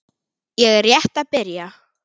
Ég er rétt að byrja!